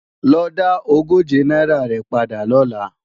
Lo dá ogóje náírà rẹ̀ padà lọ́la!